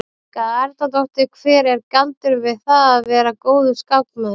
Helga Arnardóttir: Hver er galdurinn við það að vera góður skákmaður?